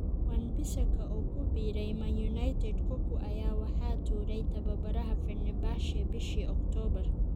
Wan-Bissaka oo ku biiray Man Utd Cocu ayaa waxaa tuuray tababaraha Fenerbahce bishii October.